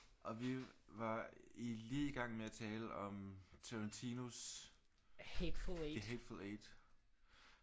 Og vi var i lige i gang med at tale om Tarantinos the Hateful Eight